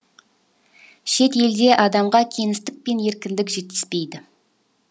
шет елде адамға кеңістік пен еркіндік жетіспейді